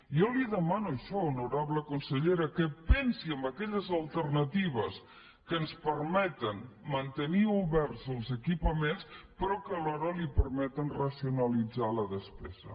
jo li demano això honorable consellera que pensi en aquelles alternatives que ens permeten mantenir oberts els equipaments però que alhora li permeten racionalitzar la despesa